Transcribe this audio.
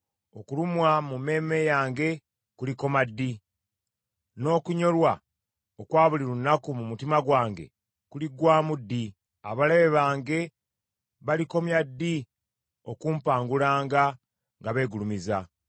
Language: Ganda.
Okulumwa mu mmeeme yange kulikoma ddi, n’okunyolwa okwa buli lunaku mu mutima gwange kuliggwaamu ddi? Abalabe bange balikomya ddi okumpangulanga nga beegulumiza?